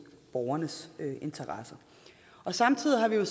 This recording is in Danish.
borgernes interesser samtidig har vi jo